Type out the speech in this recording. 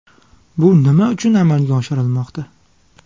Bu nima uchun amalga oshirilmoqda?